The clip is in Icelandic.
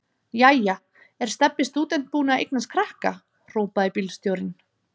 Jæja er Stebbi stúdent búinn að eignast krakka? hrópaði bílstjórinn.